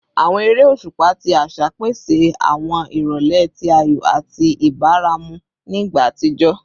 Awọn ere oṣupa ti aṣa pese awọn irọlẹ ti ayọ ati ibaramu ni igba atijọ